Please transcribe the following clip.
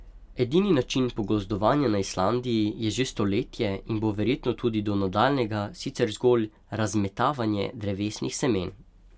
Edini način pogozdovanja na Islandiji je že stoletje in bo verjetno tudi do nadaljnjega sicer zgolj razmetavanje drevesnih semen.